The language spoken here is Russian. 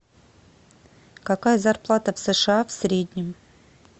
какая зарплата в сша в среднем